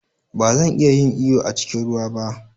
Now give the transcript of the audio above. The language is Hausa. Ba zan iya yin iyo a cikin ruwa ba.